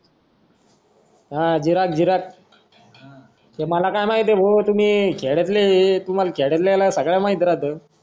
हा विराट विराट तुम्हाला काय माहिती भाऊ शहरातले शहरातल्यान सगळं माहिती राहत